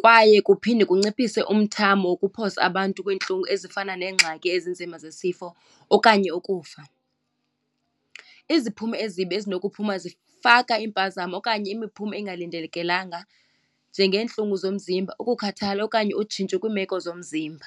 kwaye kuphinde kunciphise umthamo wokuphosa abantu kwiintlungu ezifana neengxaki ezinzima zesifo okanye ukufa. Iziphumo ezimbi ezinokuphuma zifaka iimpazamo okanye imiphumo engalindelekelanga njengeentlungu zomzimba, ukukhathala okanye utshintsho kwiimeko zomzimba.